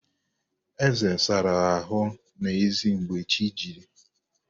Eze sara ahụ n'ezi mgbe chi jiri